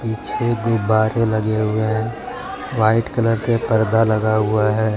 छे गुब्बारे लगे हुए है व्हाइट कलर के पर्दा लगा हुआ है।